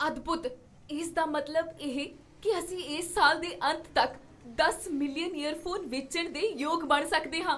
ਅਦਭੁੱਤ! ਇਸ ਦਾ ਮਤਲਬ ਇਹ ਕੀ ਅਸੀਂ ਇਸ ਸਾਲ ਦੇ ਅੰਤ ਤੱਕ ਦਸ ਮਿਲੀਅਨ ਈਅਰਫੋਨ ਵੇਚਣ ਦੇ ਯੋਗ ਬਣ ਸਕਦੇ ਹਾਂ!